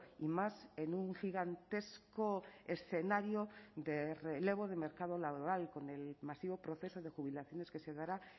y más en un gigantesco escenario de relevo de mercado laboral con el masivo proceso de jubilaciones que se dará